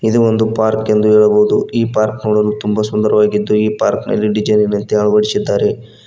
ಇದು ಒಂದು ಪಾರ್ಕ್ ಎಂದು ಹೇಳಬಹುದು ಈ ಪಾರ್ಕ್ ನೋಡಲು ತುಂಬಾ ಸುಂದರವಾಗಿದ್ದು ಈ ಪಾರ್ಕಿನಲ್ಲಿ ಡಿಸೈನಿನಂತೆ ಅಳವಡಿಸಿದ್ದಾರೆ.